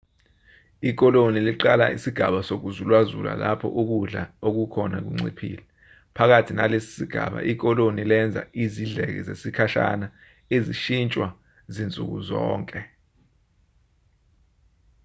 ikoloni liqala isigaba sokuzulazula lapho ukudla okukhona kunciphile phakathi nalesi sigaba ikoloni lenza izidleke zesikhashana ezishintshwa zinsuku zonke